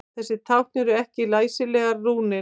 Þessi tákn eru ekki læsilegar rúnir.